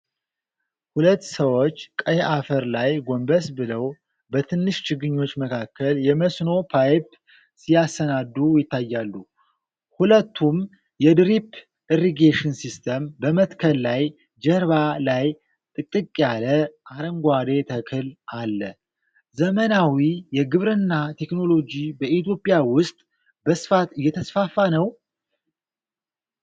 ሁለት ሰዎች ቀይ አፈር ላይ ጎንበስ ብለው በትንሽ ችግኞች መካከል የመስኖ ፓይፕ ሲያሰናዱ ይታያሉ። ሁለቱም የ ድሪፕ ኢሪጌሽን ሲስተም በመትከል ላይ ጀርባ ላይ ጥቅጥቅ ያለ የአረንጓዴ ተክል አለ። ዘመናዊ የግብርና ቴክኖሎጂ በኢትዮጵያ ውስጥ በስፋት እየተስፋፋ ነው?